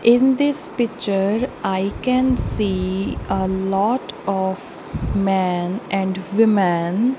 in this picture i can see ah lot of man and women.